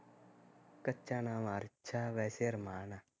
ਕੱਚਾ ਨਾਮ ਅਰਸ਼ ਆ ਵੈਸੇ ਅਰਮਾਨ ਆ